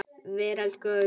Veröld gefur bókina út.